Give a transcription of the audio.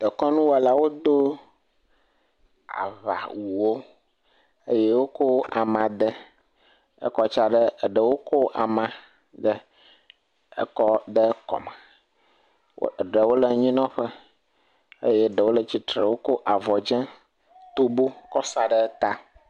Dekɔnuwɔlawo do aŋa wu wo eye wokɔ ama de ekɔ tsea ɖe, eɖewo kɔ ama de ekɔ de kɔme, eɖewo le anyi nɔ ƒe eye eɖewo kɔ avɔ dzɛ tobo kɔ sa ɖe ta.